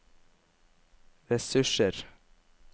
ressurser